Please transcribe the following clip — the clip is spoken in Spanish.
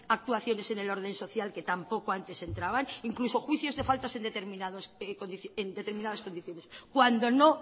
actuaciones en el orden social que tampoco antes entraban incluso juicios de faltas en determinadas condiciones cuando no